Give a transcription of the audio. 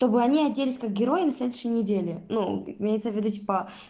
чтобы они оделись как героями следующей неделе ну имеется в виду типа